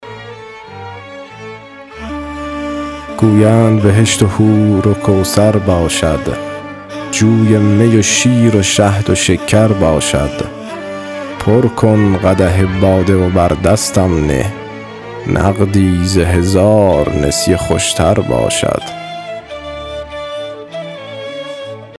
گویند بهشت و حور و کوثر باشد جوی می و شیر و شهد و شکر باشد پر کن قدح باده و بر دستم نه نقدی ز هزار نسیه خوش تر باشد